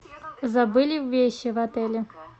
забыли вещи в отеле